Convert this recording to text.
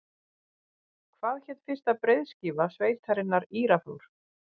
Hvað hét fyrsta breiðskífa sveitarinnar Írafár?